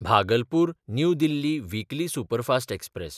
Bhagalpur New Delhi weekly superfast express